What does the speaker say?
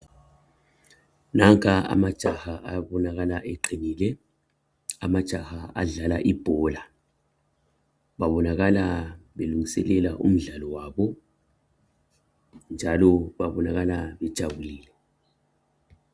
Nanka amajaha akhanya eqinile amajaha adlala ibhola babonakala belungiselela umdlalo wabo njalo babonakala bejabulile